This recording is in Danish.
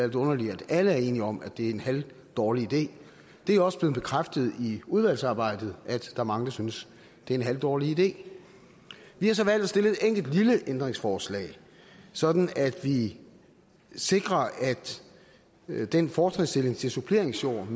lidt underligt at alle er enige om er det er en halvdårlig idé det er også blevet bekræftet i udvalgsarbejdet at der er mange der synes det er en halvdårlig idé vi har så valgt at stille et enkelt lille ændringsforslag sådan at vi sikrer at den fortrinsstilling til suppleringsjord